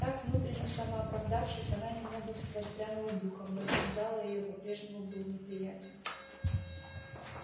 так внутренне самооправдавшись она немного воспрянула духом но вид зала её по-прежнему был неприятен